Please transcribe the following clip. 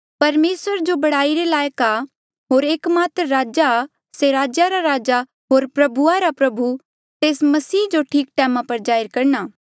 परमेसर जो बढ़ाई रे लायक आ होर एकमात्र राजा से राजेया रा राजा होर प्रभुआ रा प्रभु आ तेस मसीह जो ठीक टैमा पर जाहिर करणा